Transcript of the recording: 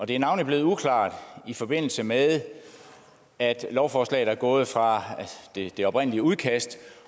det er navnlig blevet uklart i forbindelse med at lovforslaget er gået fra det oprindelige udkast